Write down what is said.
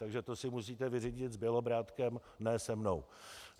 Takže to si musíte vyřídit s Bělobrádkem, ne se mnou.